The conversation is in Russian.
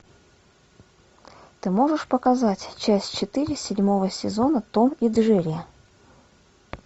ты можешь показать часть четыре седьмого сезона том и джерри